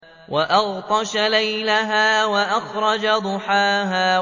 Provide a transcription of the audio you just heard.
وَأَغْطَشَ لَيْلَهَا وَأَخْرَجَ ضُحَاهَا